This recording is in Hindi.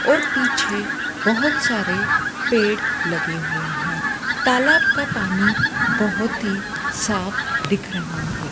और पीछे बहोत सारे पेड़ लगे हुए हैं तालाब का पानी बहोत ही साफ दिख रहा है।